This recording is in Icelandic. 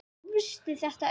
Hvar grófstu þetta upp?